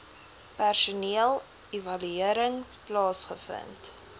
personeel evaluering plaasgevind